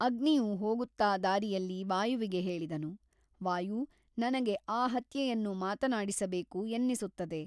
ಅಗ್ನಿಯು ಹೋಗುತ್ತಾ ದಾರಿಯಲ್ಲಿ ವಾಯುವಿಗೆ ಹೇಳಿದನು ವಾಯು ನನಗೆ ಆ ಹತ್ಯೆಯನ್ನು ಮಾತನಾಡಿಸಬೇಕು ಎನ್ನಿಸುತ್ತದೆ.